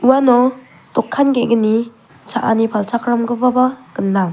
uano dokan ge·gni cha·ani palchakramgipaba gnang.